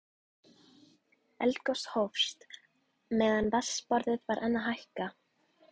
Eldgos hófst meðan vatnsborðið var enn að hækka.